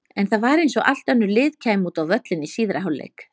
En það var eins og allt önnur lið kæmu út á völlinn í síðari hálfleik.